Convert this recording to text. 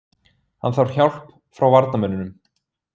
Hann þarf hjálp frá varnarmönnunum.